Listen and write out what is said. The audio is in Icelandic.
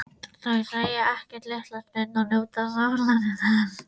Þau segja ekkert litla stund og njóta sólarinnar.